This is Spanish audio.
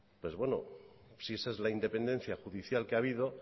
pues bueno si esa es la independencia judicial que ha habido